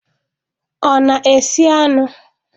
Ọ na-esi anụ?